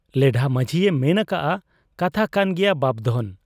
ᱞᱮᱰᱷᱟ ᱢᱟᱹᱡᱷᱤᱭᱮ ᱢᱮᱱ ᱟᱠᱟᱜ ᱟ ᱠᱟᱛᱷᱟ ᱠᱟᱱ ᱜᱮᱭᱟ ᱵᱟᱯᱫᱷᱚᱱ ᱾